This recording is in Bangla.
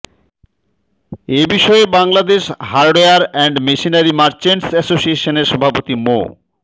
এ বিষয়ে Bangladesh hardware and machinery merchants অ্যাসোসিয়েশনের সভাপতি মো